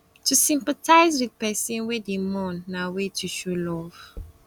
to sympathize with persin wey de mourn na way to show love